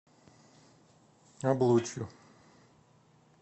облучью